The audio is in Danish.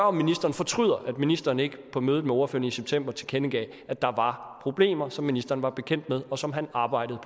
om ministeren fortryder at ministeren ikke på mødet med ordførerne i september tilkendegav at der var problemer som ministeren var bekendt med og som han arbejdede